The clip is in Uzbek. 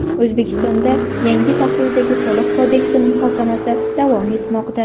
O‘zbekistonda yangi tahrirdagi Soliq kodeksi muhokamasi davom etmoqda.